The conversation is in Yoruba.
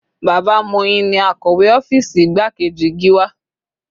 Bàbá Moyin ni akọ̀wé ọ́fìsì igbákejì Gíwá.